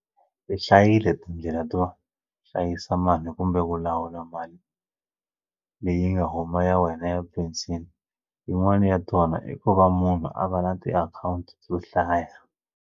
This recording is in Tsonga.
Ti hlayile tindlela to hlayisa mali kumbe ku lawula mali leyi nga huma ya wena ya penceni yin'wani ya tona i ku va munhu a va na tiakhawunti to hlaya.